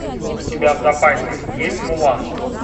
у тебя в запасе есть мулан